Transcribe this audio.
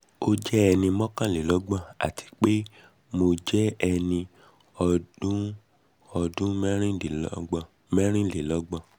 o jẹ ẹni mọkanlelọgbọn ati pe mo jẹ ẹni ọdun ọdun mẹrinlelọgbọn